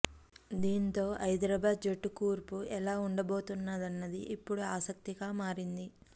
దీంతో హైదరాబాద్ జట్టు కూర్పు ఎలా ఉండబోతోందన్నది ఇప్పుడు ఆసక్తిగా మారింది